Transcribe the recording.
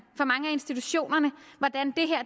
institutionerne hvordan